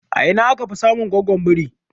A ina aka fi samun goggon biri?